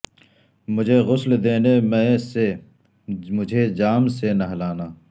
مجھے غسل دینے مئے سے مجھے جام سے نہلانا